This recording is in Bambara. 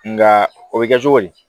Nka o bɛ kɛ cogo di